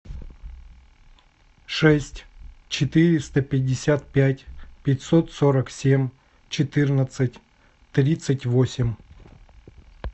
шесть четыреста пятьдесят пять пятьсот сорок семь четырнадцать тридцать восемь